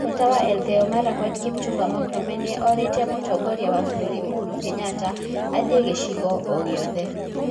Seneta wa Elegeyo Marakwet Kipchumba Murkomen nĩ orĩtie mũtongoria wa bũrũri Uhuru Kenyatta athiĩ gĩcigo o gĩothe